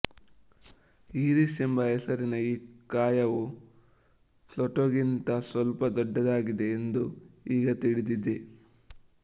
Eris ಎಂಬ ಹೆಸರಿನ ಈ ಕಾಯವು ಪ್ಲೂಟೊಗಿಂತ ಸ್ವಲ್ಪ ದೊಡ್ಡದಾಗಿದೆ ಎಂದು ಈಗ ತಿಳಿದಿದೆ